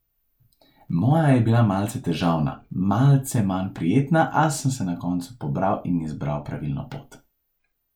Moja je bila malce težavna, malce manj prijetna, a sem se na koncu pobral in izbral pravilno pot.